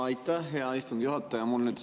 Aitäh, hea istungi juhataja!